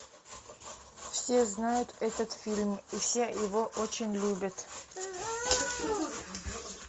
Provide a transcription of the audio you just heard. все знают этот фильм и все его очень любят